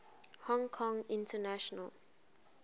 hong kong international